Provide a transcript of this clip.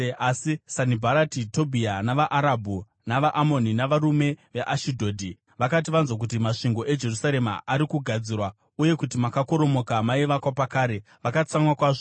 Asi Sanibharati, Tobhia, navaArabhu, navaAmoni navarume veAshidhodhi, vakati vanzwa kuti masvingo eJerusarema ari kugadzirwa, uye kuti makakoromoka maivakwa pakare, vakatsamwa kwazvo.